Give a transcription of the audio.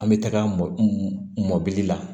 An bɛ taga mɔbili la